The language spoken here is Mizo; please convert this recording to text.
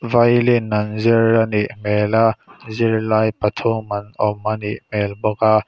violin an zir a nih hmel a zirlai pathum an awm anih hmel bawk a.